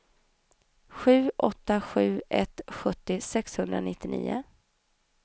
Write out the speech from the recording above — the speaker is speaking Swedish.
sju åtta sju ett sjuttio sexhundranittionio